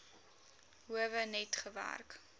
howe net gewerk